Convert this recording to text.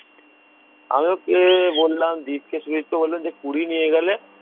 আমি ওকে বললাম দীপকে শুনিসতো বললো যে কুড়ি নিয়ে গেলে